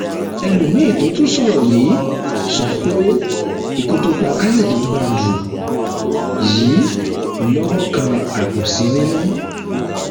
ẹlòmíín tó tún sọ sọrọ yìí sọ pé ikú tó pa káyọdé bádru yìí lọwọ kan àbòsí nínú